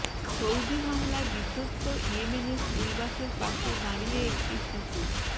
Saudi হামলায় বিধ্বস্ত ইয়েমেনের স্কুলবাসের পাশে দাঁড়িয়ে একটি শিশু